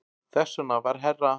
Þess vegna var herra